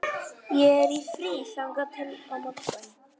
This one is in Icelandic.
Ég er í fríi þangað til á morgun.